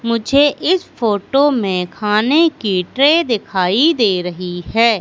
मुझे इस फोटो में खाने की ट्रे दिखाई दे रही है।